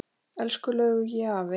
Elsku Laugi afi.